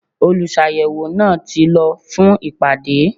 Olùsàyẹ̀wò náà ti lọ fún ìpàdé.